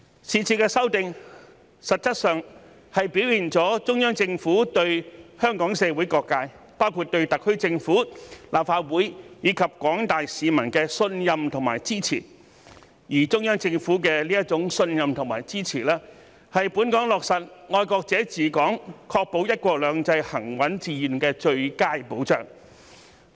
是次修訂實質上表現了中央政府對香港社會各界，包括對特區政府、立法會，以及廣大市民的信任和支持，而中央政府的這種信任和支持，是本港落實"愛國者治港"、確保"一國兩制"行穩致遠的最佳保障。